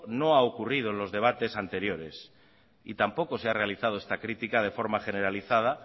no ha ocurrido en los debates anteriores y tampoco se ha realizado esta crítica de forma generalizada